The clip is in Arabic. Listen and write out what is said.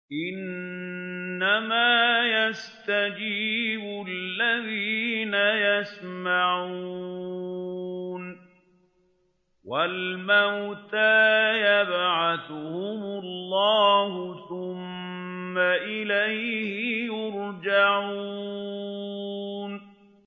۞ إِنَّمَا يَسْتَجِيبُ الَّذِينَ يَسْمَعُونَ ۘ وَالْمَوْتَىٰ يَبْعَثُهُمُ اللَّهُ ثُمَّ إِلَيْهِ يُرْجَعُونَ